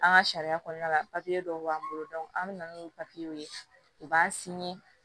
An ka sariya kɔnɔna la dɔw b'an bolo an mi na n'u ye u b'an